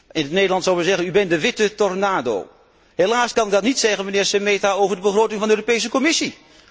In Nederland zouden we zeggen u bent de witte tornado. Helaas kan ik dat niet zeggen, mijnheer Šemeta, over de begroting van de Europese Commissie.